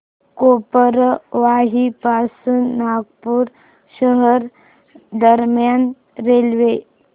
गोबरवाही पासून नागपूर शहर दरम्यान रेल्वे